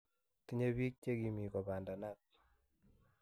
Tinye bik che kimii kopandanat